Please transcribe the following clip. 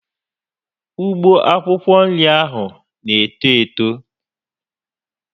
Ugbo akwụkwọ nri ahụ na eto Eto